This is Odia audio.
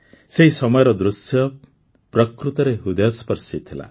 ସେହି ସମୟର ଦୃଶ୍ୟ ପ୍ରକୃତରେ ହୃଦୟସ୍ପର୍ଶୀ ଥିଲା